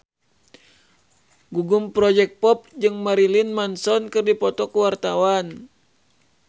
Gugum Project Pop jeung Marilyn Manson keur dipoto ku wartawan